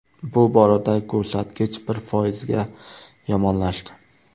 Bu boradagi ko‘rsatkich bir foizga yomonlashdi .